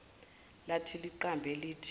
lathi liqambe lithi